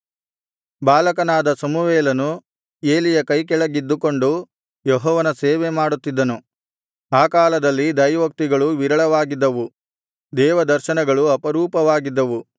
ಬಾಲಕನಾದ ಸಮುವೇಲನು ಏಲಿಯ ಕೈಕೆಳಗಿದ್ದುಕೊಂಡು ಯೆಹೋವನ ಸೇವೆಮಾಡುತ್ತಿದ್ದನು ಆ ಕಾಲದಲ್ಲಿ ದೈವೋಕ್ತಿಗಳು ವಿರಳವಾಗಿದ್ದವು ದೇವದರ್ಶನಗಳು ಅಪರೂಪವಾಗಿದ್ದವು